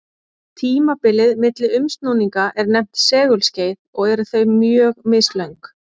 Tímabilið milli umsnúninga er nefnt segulskeið og eru þau mjög mislöng.